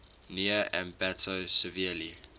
near ambato severely